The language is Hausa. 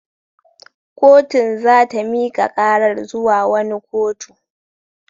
Kotun za ta mika karar zuwa wani kotu.